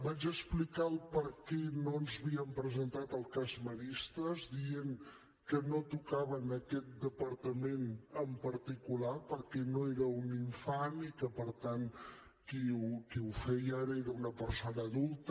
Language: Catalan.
vaig explicar el perquè no ens havíem presentat al cas maristes dient que no tocava a aquest departament en particular perquè no era un infant i que per tant qui ho feia ara era una persona adulta